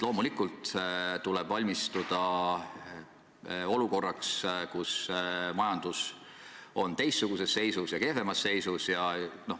Loomulikult tuleb valmistuda olukorraks, kus majandus on teistsuguses, palju kehvemas seisus.